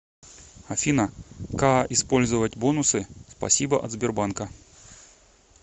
афина каа использовать бонусы спасибо от сбербанка